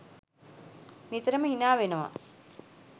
නිතරම හිනාවෙනවා.